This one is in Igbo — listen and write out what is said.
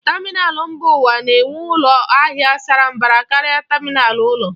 Tamịnal mba ụwa na-enwe ụlọ ahịa sara mbara karịa tamịnal ụlọ.